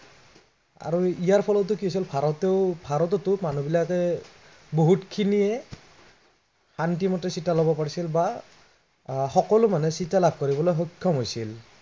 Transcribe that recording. আৰু ইয়াৰ ফলতো কি হৈছিল ভাৰতেও, ভাৰততো মানুহবিলাকে, বহুতখিনিয়ে, শান্তিমতে চিটা ল'ব পাৰিছিল বা আহ সকলো মানুহে চিটা লাভ কৰিবলৈ সক্ষম হৈছিল।